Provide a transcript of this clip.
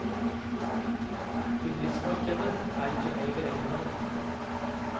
Bedriftsmarkedet er ikke med i beregningene.